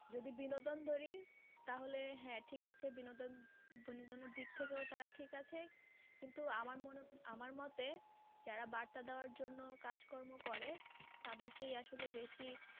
যদি বিনোদন ধরি তাহলে হ্যাঁ ঠিক আছে বিনোদন, বিনোদনের দিক থাকেও তারা ঠিক আছে কিন্তু আমার আমার মতে যারা বার্তা দেওয়ার জন্য কাজ কর্ম করে তাদেরকে আসলেই বেশি